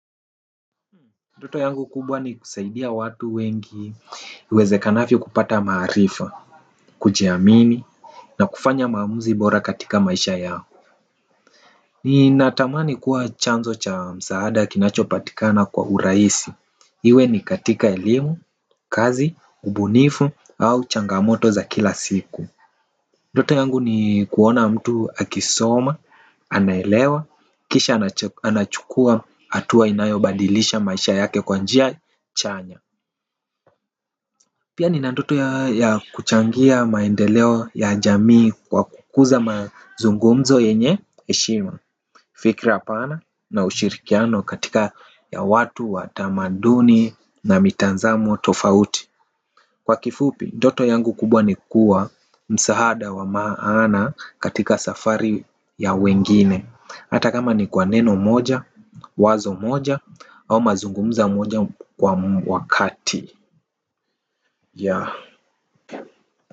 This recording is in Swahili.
Ndoto yangu kubwa ni kusaidia watu wengi iwezekanavyo kupata maarifa, kujiamini, na kufanya maamuzi bora katika maisha yao. Ni natamani kuwa chanzo cha msaada kinachopatikana kwa urahisi. Iwe ni katika elimu, kazi, ubunifu, au changamoto za kila siku. Ndoto yangu ni kuona tu akisoma, anaelewa kisha anachukua hatua inayobadilisha maisha yake kwa njia chanya. Pia nina ndoto ya kuchangia maendeleo ya jamii kwa kukuza mazungumzo yenye heshima. Fikra apana na ushirikiano katika ya watu wa tamaduni na mitazamo tofauti. Kwa kifupi ndoto yangu kubwa ni kuwa msaada wa maana katika safari ya wengine. Hata kama ni kwa neno moja, wazo moja au mazungumzo moja kwa wakati ya.